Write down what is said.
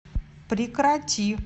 прекрати